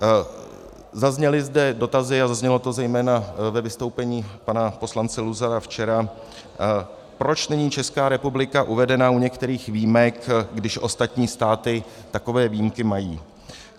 Zazněly zde dotazy a zaznělo to zejména ve vystoupení pana poslance Luzara včera, proč není Česká republika uvedena u některých výjimek, když ostatní státy takové výjimky mají.